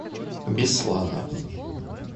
беслана